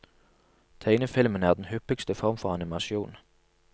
Tegnefilmen er den hyppigste form for animasjon.